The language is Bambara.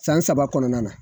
San saba kɔnɔna na